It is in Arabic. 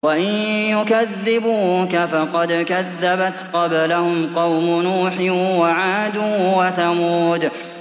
وَإِن يُكَذِّبُوكَ فَقَدْ كَذَّبَتْ قَبْلَهُمْ قَوْمُ نُوحٍ وَعَادٌ وَثَمُودُ